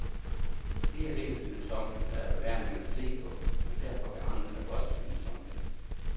Det jeg ikke synes om, lader jeg være med at se på, men derfor kan andre da godt synes om det.